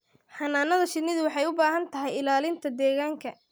Xannaanada shinnidu waxay u baahan tahay ilaalinta deegaanka.